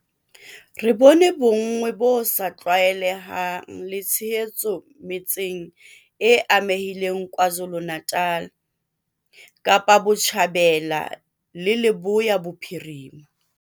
Re bone bonngwe bo sa tlwaelehang le tshehetso metseng e amehileng KwaZulu-Natal, Kapa Botjhabela le Leboya Bophirima.